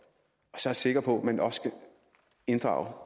så er jeg sikker på at man også skal inddrage